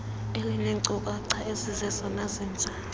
elineenkcukacha ezizezona zintsha